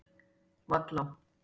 Vallá